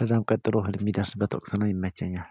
ከዛም ቀጥሎ እልም የሚደርስበት ወቅት ነው፣ ይመቸኛል።